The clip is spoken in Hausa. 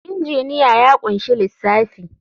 Injiniya ya ƙunshi lissafi.